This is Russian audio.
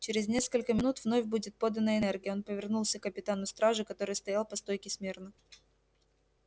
через несколько минут вновь будет подана энергия он повернулся к капитану стражи который стоял по стойке смирно